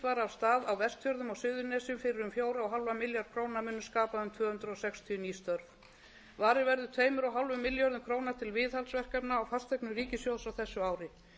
stað á vestfjörðum og suðurnesjum fyrir um fjóran og hálfan milljarð króna munu skapa um tvö hundruð sextíu ný störf varið verður tveimur og hálfum milljarði króna til viðhaldsverkefna á fasteignum ríkissjóðs á þessu ári